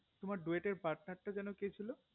তোমার duet এ টের পাটনারটা যেন কে ছিল